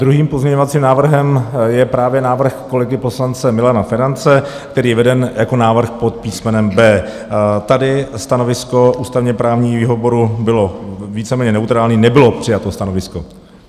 Druhým pozměňovacím návrhem je právě návrh kolegy poslance Milana Ferance, který je veden jako návrh pod písmenem B. Tady stanovisko ústavně-právního výboru bylo víceméně neutrální, nebylo přijato stanovisko.